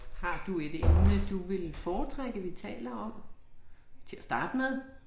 Har du et emne du ville foretrække vi taler om til at starte med?